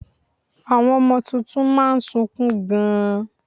Àwọn ọmọ tuntun má a nsukun gan